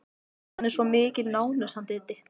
Hann er svo mikil nánös hann Diddi.